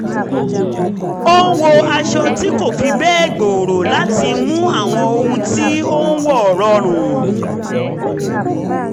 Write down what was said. ó ń wọ aṣọ tí kò fi bẹ́ẹ̀ gbòòrò láti mú àwọn ohun tí ó ń wọ̀ rọrùn